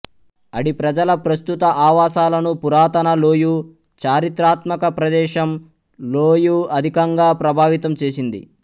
అడి ప్రజల ప్రస్తుత ఆవాసాలను పురాతన లోయు చారిత్రాత్మక ప్రదేశం ల్హోయు అధికంగా ప్రభావితం చేసింది